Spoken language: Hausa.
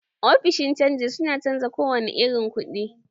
Ofishin canji su na canja kowane irin ku, ɗi